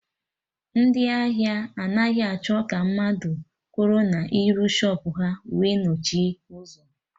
Ndị ahịa anaghị achọ ka mmadụ kwụrụ n'iru shọpụ ha wee nochie ụzọ